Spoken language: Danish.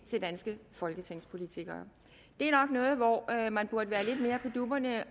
til danske folketingspolitikere det er nok noget hvor man burde være lidt mere på dupperne og